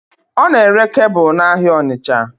Ọ n'ere kebụl n'ahịa Ọnitsha